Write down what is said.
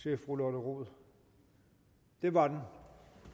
til fru lotte rod der var den